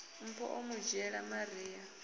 mpho o mu dzhiela maria